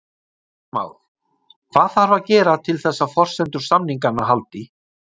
Heimir Már: Hvað þarf að gera til þess að forsendur samninganna haldi?